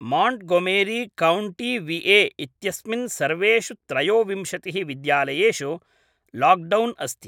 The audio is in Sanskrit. माण्ट्गोमेरी काउण्टी विए इत्यस्मिन् सर्वेषु त्रयोविंशतिः विद्यालयेषु लाक्डौन् अस्ति